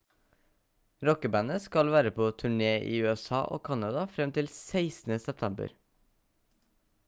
rockebandet skal være på turné i usa og canada frem til 16. september